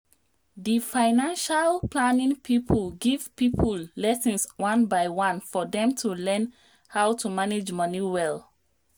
di financial planning people give people lessons on by one for dem to learn how to manage money well.